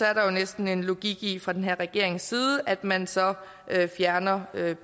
er der jo næsten en logik i fra den her regerings side at man så fjerner